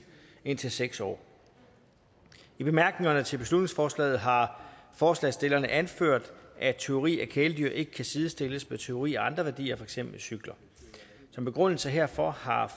indtil seks år i bemærkningerne til beslutningsforslaget har forslagsstillerne anført at tyveri af kæledyr ikke kan sidestilles med tyveri af andre værdier som for eksempel cykler som begrundelse herfor har